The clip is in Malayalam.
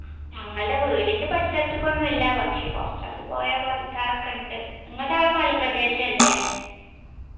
ഞങ്ങൾടെ വീടിന്റെ പരിസരത്തക്ക്തുന്നല്ല്യാ പക്ഷെ കൊർച്ച് അങ്ങട് പോയാൽ ബാധിക്കാറൊക്കെയിണ്ട് ങ്ങൾടെ അവിടെ മലപ്രദേശല്ലേ